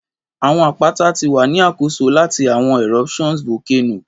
Awọn apata ti wa ni akoso lati awọn eruptions Volcano